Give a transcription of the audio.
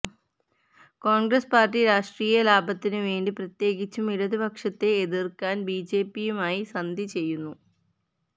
Congress party രാഷ്ട്രീയ ലാഭത്തിനുവേണ്ടി പ്രത്യേകിച്ചും ഇടതുപക്ഷത്തെ എതിര്ക്കാന് ബി ജെ പിയുമായി സന്ധി ചെയ്യുന്നു